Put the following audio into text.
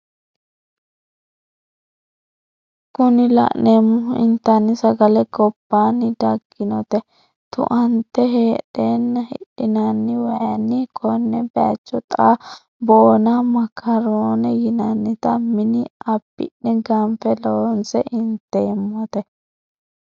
Kuni la'neemohu intanni sagale gobbanni dagginota tu"ante hedheenna hifhinanniwaikkanna konne bayiicho xaa boona makaron yinanniti mini abbi'ne ganfe loonse inteemote.